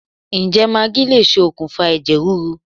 Ǹjẹ́ magí lè ṣokùnfà ẹ̀jẹ̀ríru